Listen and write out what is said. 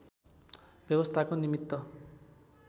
व्यवस्थाको निमित्त